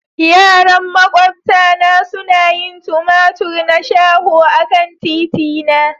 Yara maƙwabta na suna yin tumatur na shaho akan titina.